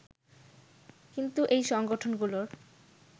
কিন্তু এই সংগঠনগুলোর